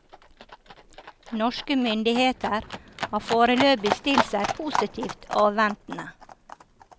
Norske myndigheter har foreløpig stilt seg positivt avventende.